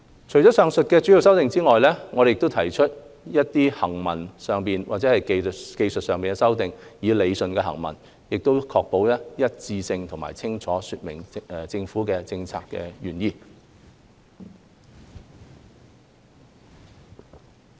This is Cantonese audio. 除了以上的主要修正案外，我們亦提出了一些行文上或技術上的修正案，以理順行文，確保一致性及清楚說明政府的政策原意。